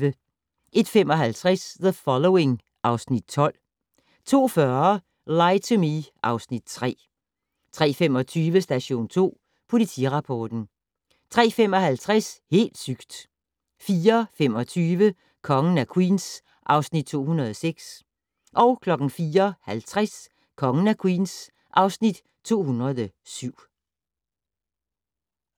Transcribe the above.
01:55: The Following (Afs. 12) 02:40: Lie to Me (Afs. 3) 03:25: Station 2 Politirapporten 03:55: Helt sygt! 04:25: Kongen af Queens (Afs. 206) 04:50: Kongen af Queens (Afs. 207)